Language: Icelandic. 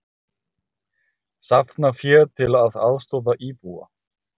Safna fé til að aðstoða íbúa